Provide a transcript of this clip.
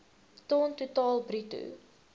ton totaal bruto